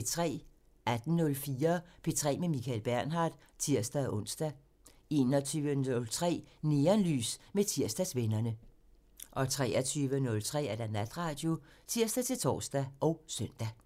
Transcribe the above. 18:04: P3 med Michael Bernhard (tir-ons) 21:03: Neonlys med Tirsdagsvennerne (tir) 23:03: Natradio (tir-tor og søn)